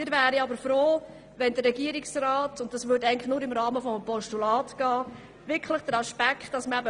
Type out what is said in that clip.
Wir wären aber froh, wenn der Regierungsrat Massnahmen und andere Aspekte prüft.